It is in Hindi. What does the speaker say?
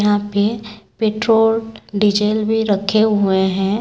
यहां पे पेट्रोल डीजल भी रखे हुए हैं।